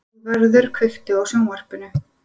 Ráðvarður, kveiktu á sjónvarpinu.